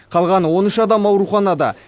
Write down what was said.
қалған он үш адам ауруханада